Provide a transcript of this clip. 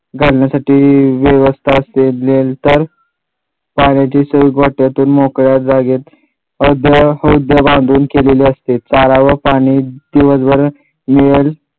घालण्यासाठी व्यवस्था केल्याच्या नंतर पाण्याची सोय गोठ्यातून मोकळ्या जागेत हद्द हद्द बांधून केलेली असते. चारा व पाणी दिवसभर मिळेल